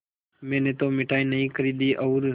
मैंने तो मिठाई नहीं खरीदी और